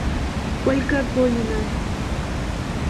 ольга гонина